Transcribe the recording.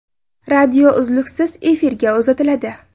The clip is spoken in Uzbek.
Radio uzluksiz efirga uzatiladi.